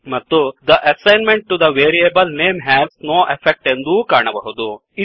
ಮತ್ತು the assignment to the variable name has no effect ಎಂದೂ ಕಾಣಬಹುದು